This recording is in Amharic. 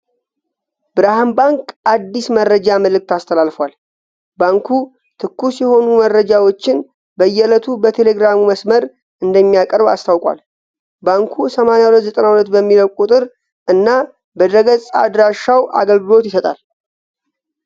ብርሃን ባንክ አዲስ መረጃ መልዕክት አስተላልፏል። ባንኩ ትኩስ የሆኑ መረጃዎችን በየዕለቱ በቴሌግራሙ መስመር እንደሚያቀርብ አስታውቋል። ባንኩ 8292 በሚለው ቁጥር እና በድረ-ገጽ አድራሻውም አገልግሎት ይሰጣል።